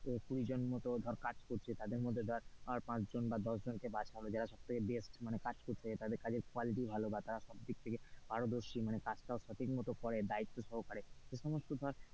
একটা অফিস এ দেখা গেলো কুড়ি জন মতো ধর কাজ করছে তাদের মধ্যে ধর পাঁচজন বা দশ জনকে বাছতে হবে যারা সব থেকে best মানে কাজ করছে বা quality ভালো বা তারা সব দিক থেকে পারদর্শী মানে কাজটাও সঠিক মতো করে দায়িত্ব সহকারে.